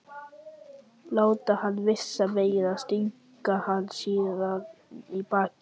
Láta hann vísa veginn og stinga hann síðan í bakið?